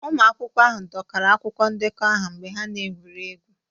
Ụmụ akwụkwọ ahụ dọkara akwụkwọ ndekọ aha mgbe ha na-egwuri egwu